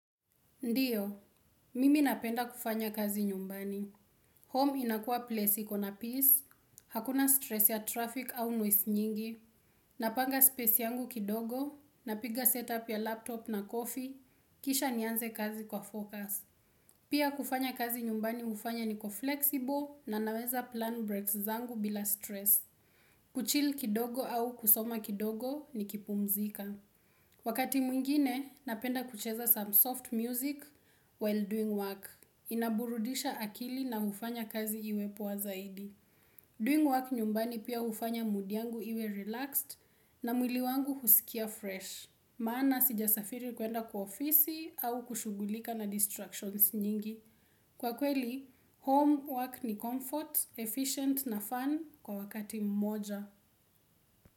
Ndiyo, mimi napenda kufanya kazi nyumbani. Home inakua place ikona peace, hakuna stress ya traffic au noise nyingi. Napanga space yangu kidogo, napiga setup ya laptop na coffee, kisha nianze kazi kwa focus. Pia kufanya kazi nyumbani hufanya niko flexible na naweza plan breaks zangu bila stress. Kuchill kidogo au kusoma kidogo nikipumzika. Wakati mwingine, napenda kucheza some soft music while doing work. Inaburudisha akili na ufanya kazi iwe poa zaidi. Doing work nyumbani pia hufanya mood yangu iwe relaxed na mwili wangu husikia fresh. Maana sijasafiri kuenda kwa ofisi au kushugulika na distractions nyingi. Kwa kweli, home work ni comfort, efficient na fun kwa wakati mmoja.